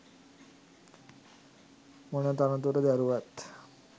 මොන තනතුර දැරුවත්